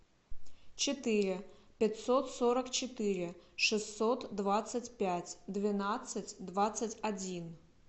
четыре пятьсот сорок четыре шестьсот двадцать пять двенадцать двадцать один